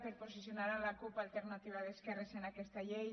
per posicionar la cup · alterna·tiva d’esquerres en aquesta llei